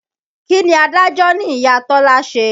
Kí ni adájọ́ ní Ìya Tọ́lá ṣe?